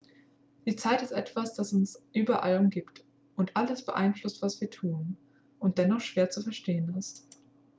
die zeit ist etwas dass uns überall umgibt und alles beeinflusst was wir tun und dennoch schwer zu verstehen ist